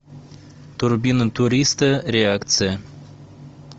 турбина туриста реакция